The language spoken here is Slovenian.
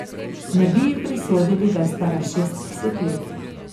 Ne bi ji prisodili, da je stara šestdeset let.